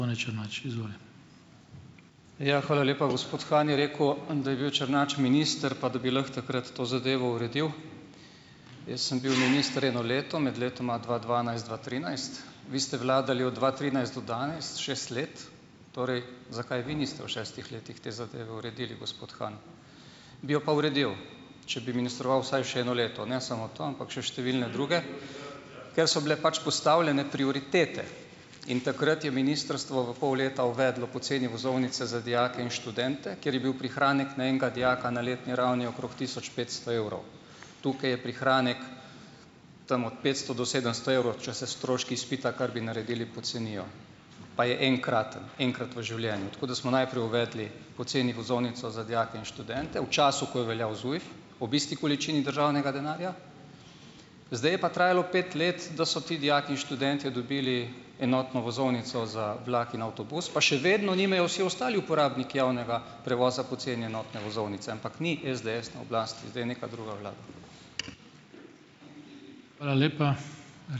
Ja, hvala lepa. Gospod Han je rekel, da je bil Črnač minister pa da bi lahko takrat to zadevo uredil. Jaz sem bil minister eno leto, med letoma dva dvanajst, dva trinajst. Vi ste vladali od dva trinajst do danes, šest let, torej zakaj vi niste v šestih letih te zadeve uredili, gospod Han. Bi jo pa uredil, če bi ministroval vsaj še eno leto, ne samo to, ampak še številne druge, ker so bile pač postavljene prioritete, in takrat je ministrstvo v pol leta uvedlo poceni vozovnice za dijake in študente, kjer je bil prihranek na enega dijaka na letni ravni okrog tisoč petsto evrov. Tukaj je prihranek tam od petsto do sedemsto evrov, če se stroški izpita, kar bi naredili, pocenijo, pa je enkraten, enkrat v življenju. Tako da smo najprej uvedli poceni vozovnico za dijake in študente, v času, ko je veljav ZUJF, ob isti količini državnega denarja, Zdaj je pa trajalo pet let, da so ti dijaki in študentje dobili enotno vozovnico za vlak in avtobus, pa še vedno nimajo vsi ostali uporabniki javnega prevoza po ceni enotne vozovnice, ampak ni SDS na oblasti, zdaj je neka druga vlada.